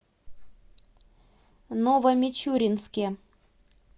новомичуринске